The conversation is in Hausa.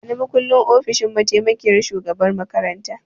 Bani makullin ofishin mataimakiyyar shugaban makaranta!